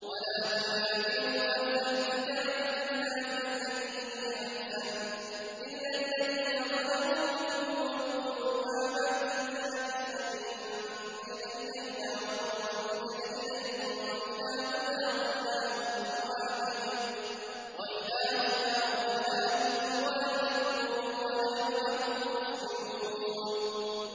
۞ وَلَا تُجَادِلُوا أَهْلَ الْكِتَابِ إِلَّا بِالَّتِي هِيَ أَحْسَنُ إِلَّا الَّذِينَ ظَلَمُوا مِنْهُمْ ۖ وَقُولُوا آمَنَّا بِالَّذِي أُنزِلَ إِلَيْنَا وَأُنزِلَ إِلَيْكُمْ وَإِلَٰهُنَا وَإِلَٰهُكُمْ وَاحِدٌ وَنَحْنُ لَهُ مُسْلِمُونَ